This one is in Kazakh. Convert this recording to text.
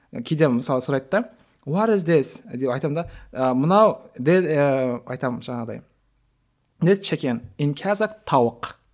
кейде мысалы сұрайды да деп айтамын да мынау ыыы айтамын жаңағыдай